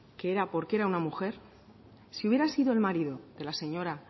que era porque era una mujer si hubiera sido el marido de la señora